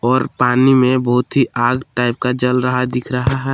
और पानी में बहुत ही आग टाइप का जल रहा है दिख रहा है।